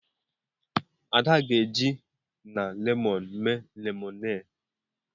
Ada ga-eji na lemọnụ mee lemonade.